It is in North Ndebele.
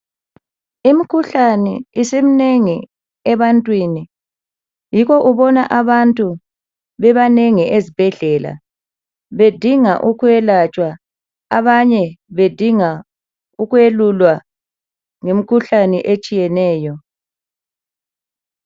Imikhuhlane isiminengi ebantwini yikho ubona abantu libanengi ezibhedlela bedinga ukwelatshwa abanye bedinga ukwelulwa ngemikhuhlane etshiyeneyo.